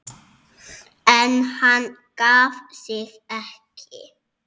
En hann gaf sig ekki.